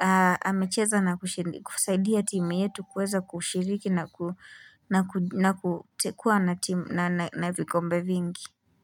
Na amecheza na kusaidia timu yetu kuweza kushiriki na kuwa na vikombe vingi.